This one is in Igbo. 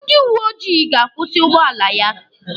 Ndị uweojii ga-akwụsị ụgbọala ya.